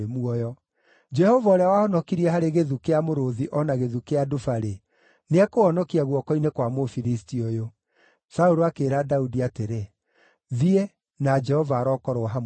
Jehova ũrĩa wahonokirie harĩ gĩthu kĩa mũrũũthi o na gĩthu kĩa nduba-rĩ, nĩekũhonokia guoko-inĩ kwa Mũfilisti ũyũ.” Saũlũ akĩĩra Daudi atĩrĩ, “Thiĩ, na Jehova arokorwo hamwe nawe.”